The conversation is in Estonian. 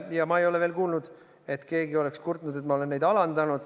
Ja ma ei ole kuulnud, et keegi oleks kurtnud, et ma olen neid alandanud.